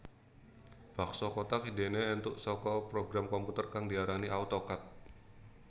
Bakso kothak idéné éntuk saka program komputer kang diarani Auto Cad